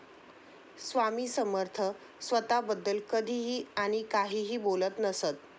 स्वामी समर्थ स्वतःबद्दल कधीही आणि काहीही बोलत नसत.